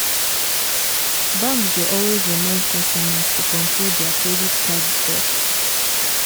banks dey always remind customers to control dia credit card debt.